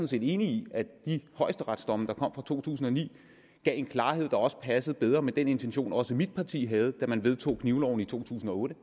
set enig i at de højesteretsdomme der kom fra to tusind og ni gav en klarhed der også passede bedre med den intention også mit parti havde da man vedtog knivloven i to tusind og otte